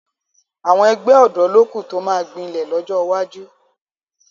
Àwọn ẹgbẹ́ ọ̀dọ́ ló kù tó máa gbilẹ̀ lọ́jọ́ iwájú